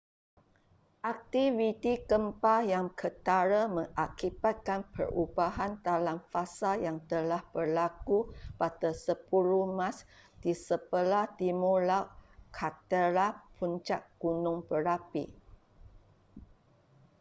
aktiviti gempa yang ketara mengakibatkan perubahan dalam fasa yang telah berlaku pada 10 mac di sebelah timur laut kaldera puncak gunung berapi